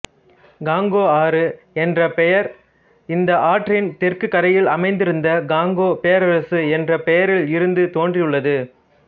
Congo ஆறு என்ற பெயர் இந்த ஆற்றின் தெற்கு கரையில் அமைந்திருந்த காங்கோ பேரரசு என்ற பெயரில் இருந்து தோன்றியுள்ளது